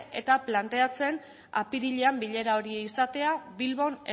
eta planteatzen apirilean bilera izatea bilbon